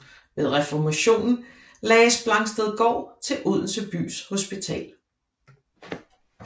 Ved reformationen lagdes Blangstedgaard til Odense bys hospital